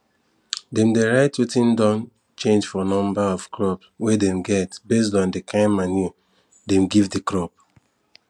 dem dey write wetin don change for number of crop we dem get based on di kin manure dem give di crop